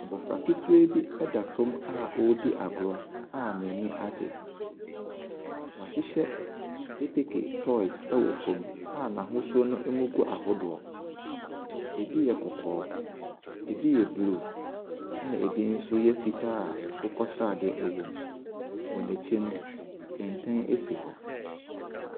Abɔfra ketewa bi ɛda fam a ɛredi agorɔ a n’ani agye. Wɔahyehyɛ keteke toys ɛwɔ fam a n’ahosuo no agu ahodoɔ. Ɛbi yɛ kɔkɔɔ, ɛbi yɛ bluu ɛna ɛbi nso yɛ fitaa a akokɔsradeɛ ɛwɔ mu. Wɔ n’kyi no, kɛntɛn asi hɔ.